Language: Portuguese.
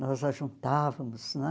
Nós a juntávamos, né?